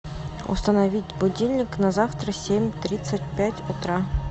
установить будильник на завтра семь тридцать пять утра